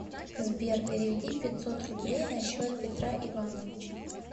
сбер переведи пятьсот рублей на счет петра ивановича